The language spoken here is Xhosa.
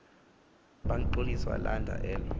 bangxoliswa lindla elo